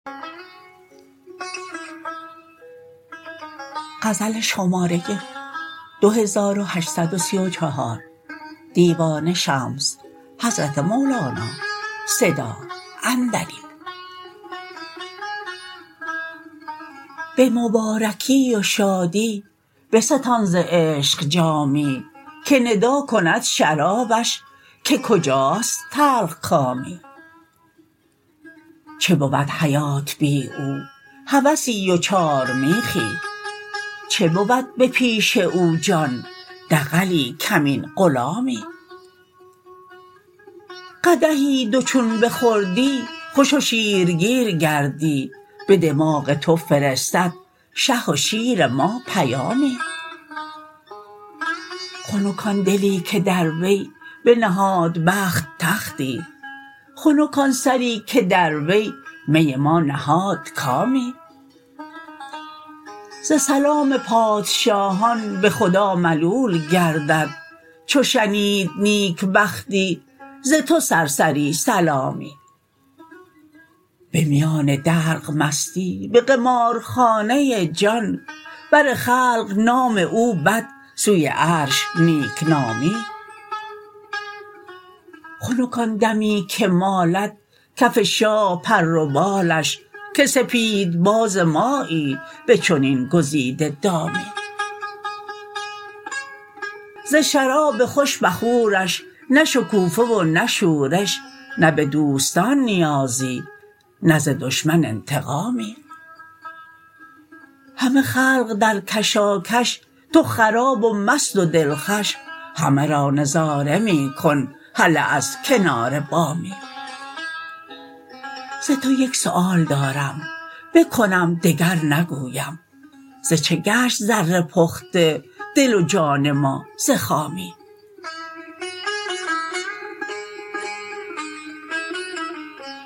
به مبارکی و شادی بستان ز عشق جامی که ندا کند شرابش که کجاست تلخکامی چه بود حیات بی او هوسی و چارمیخی چه بود به پیش او جان دغلی کمین غلامی قدحی دو چون بخوردی خوش و شیرگیر گردی به دماغ تو فرستد شه و شیر ما پیامی خنک آن دلی که در وی بنهاد بخت تختی خنک آن سری که در وی می ما نهاد کامی ز سلام پادشاهان به خدا ملول گردد چو شنید نیکبختی ز تو سرسری سلامی به میان دلق مستی به قمارخانه جان بر خلق نام او بد سوی عرش نیک نامی خنک آن دمی که مالد کف شاه پر و بالش که سپیدباز مایی به چنین گزیده دامی ز شراب خوش بخورش نه شکوفه و نه شورش نه به دوستان نیازی نه ز دشمن انتقامی همه خلق در کشاکش تو خراب و مست و دلخوش همه را نظاره می کن هله از کنار بامی ز تو یک سؤال دارم بکنم دگر نگویم ز چه گشت زر پخته دل و جان ما ز خامی